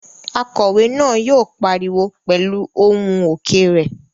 Akòwé náà yóò pariwo pẹ̀lú ohùn òkè rẹ̀